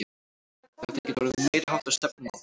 Þetta getur orðið meiriháttar stefnumót!